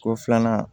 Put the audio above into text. Ko filanan